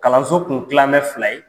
Kalanso tun tilamɛ fila ye.